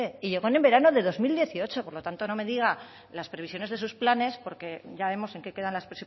y llegó en verano del dos mil dieciocho por lo tanto no me diga las previsiones de sus planes porque ya vemos en qué quedan las